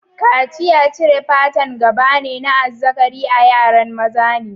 Kaciya cire'n pata'n gaba ne na azzakari a yaran maza ne.